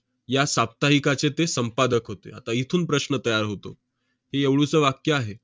या साप्ताहिकाचे ते संपादक होते. आता इथून प्रश्न तयार होतो. हे एवढुसं वाक्य आहे.